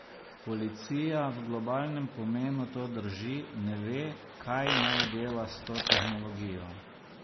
Policija, v globalnem pomenu to drži, ne ve, kaj naj dela s to tehnologijo.